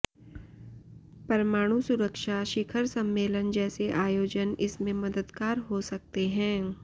परमाणु सुरक्षा शिखर सम्मेलन जैसे आयोजन इसमें मददगार हो सकते हैं